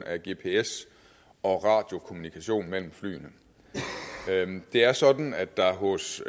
af gps og radiokommunikation mellem flyene det er sådan at der hos